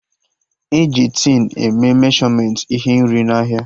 E ji tin e mee meshọmentị ihe nri n'ahịa